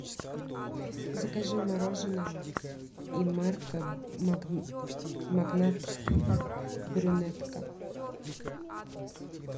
закажи мороженое инмарко магнат брюнетка